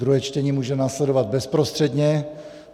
Druhé čtení může následovat bezprostředně.